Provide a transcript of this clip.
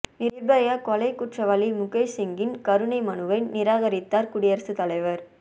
நிர்பயா கொலை குற்றவாளி முகேஷ் சிங்கின் கருணை மனுவை நிராகரித்தார் குடியரசுத் தலைவர்